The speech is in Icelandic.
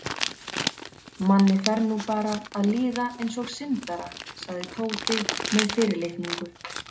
Manni fer nú bara að líða eins og syndara sagði Tóti með fyrirlitningu.